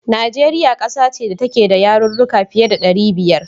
Najeriya ƙasa ce da take da yarurruka fiye da ɗari biyar.